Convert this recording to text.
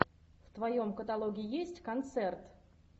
в твоем каталоге есть концерт